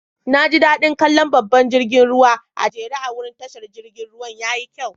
Na ji da'din kalla babban jirigin ruwan a'jere a'wurin tashar jirigin ruwan. Yayi kyau.